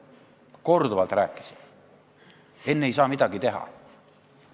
Ma korduvalt rääkisin, et enne ei saa midagi teha.